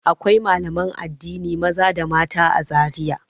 Akwai malaman addini maza da mata a Zariya.